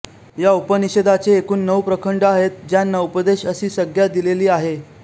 या उपनिषदाचे एकूण नऊ प्रखंड आहेत ज्यांना उपदेश अशी संज्ञा दिलेली आहे